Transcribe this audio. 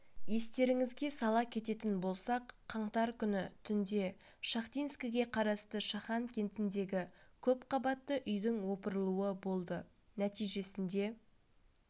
естеріңізге сала кететін болсақ қаңтар күні түнде шахтинскіге қарасты шахан кентіндегі көпқабатты үйдің опырылуы болды нәтижесінде